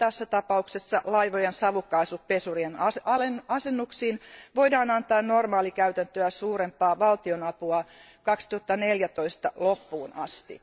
Tässä tapauksessa laivojen savukaasupesurien asennuksiin voidaan antaa normaalikäytäntöä suurempaa valtionapua vuoden 2014 loppuun asti.